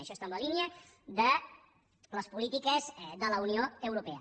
això està en la línia de les polítiques de la unió europea